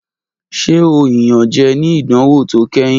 Ṣe o iyanjẹ ni idanwo to kẹhin?